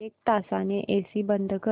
एक तासाने एसी बंद कर